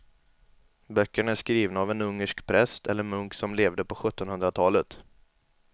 Böckerna är skrivna av en ungersk präst eller munk som levde på sjuttonhundratalet.